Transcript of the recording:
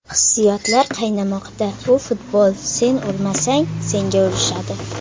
Hissiyotlar qaynamoqda Bu futbol, sen urmasang, senga urishadi.